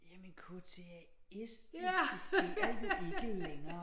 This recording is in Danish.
Jamen KTAS eksisterer jo ikke længere